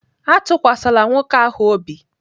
Atụkwasịla nwoke ahụ obi!